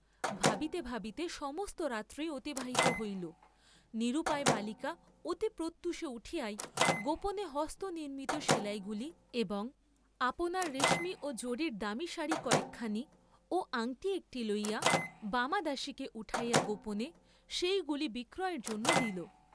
ভাবতে ভাবিতে সমস্ত রাত্রি অতিবাহিত হইল, নিরুপায় বালিকা অতি প্রত্যুষে উঠিয়াই গোপনে স্বহস্তনির্মিত সেলাই গুলি, এবং আপনার রেশমী ও জরীর দামি সাড়ি কয়েকখানি ও আংটি একটি লইয়া, বামা দাসীকে উঠাইয়া গোপনে সেই গুলি বিক্রয়ের জন্য দিল।